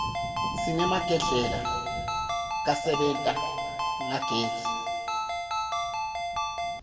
sinemagdlela kasebenta ngagezi